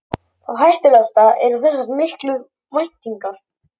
Það hættulegasta eru þessar miklu væntingar.